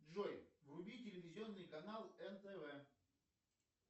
джой вруби телевизионный канал нтв